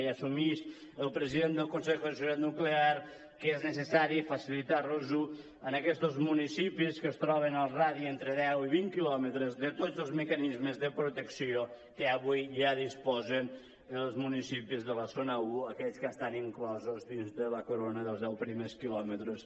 i assumix el president del consejo de seguridad nuclear que és necessari facilitar a aquests municipis que es troben al radi entre deu i vint quilòmetres tots els mecanismes de protecció que avui ja disposen els municipis de la zona un aquells que estan inclosos dins de la corona dels deu primers quilòmetres